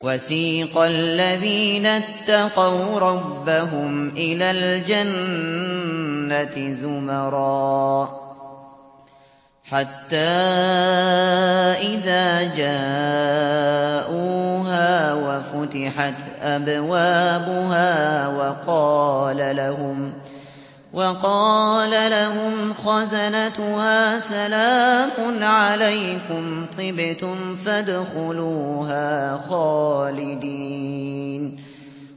وَسِيقَ الَّذِينَ اتَّقَوْا رَبَّهُمْ إِلَى الْجَنَّةِ زُمَرًا ۖ حَتَّىٰ إِذَا جَاءُوهَا وَفُتِحَتْ أَبْوَابُهَا وَقَالَ لَهُمْ خَزَنَتُهَا سَلَامٌ عَلَيْكُمْ طِبْتُمْ فَادْخُلُوهَا خَالِدِينَ